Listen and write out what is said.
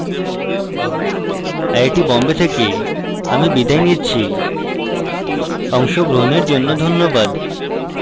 IIT Bombay থেকে আমি বিদায় নিচ্ছি অংশগ্রহণের জন্য ধন্যবাদ